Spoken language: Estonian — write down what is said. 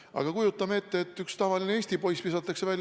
Aga kujutame ette, et üks tavaline eesti poiss visatakse välja.